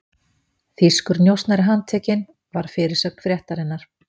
Þýskur njósnari handtekinn, var fyrirsögn fréttarinnar.